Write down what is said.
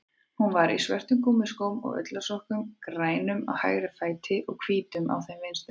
Hún var í svörtum gúmmískóm og ullarsokkum, grænum á hægri fæti, hvítum á þeim vinstri.